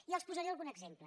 i els en posaré algun exemple